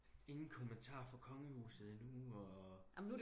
ingen kommentar fra kongehuset endnu og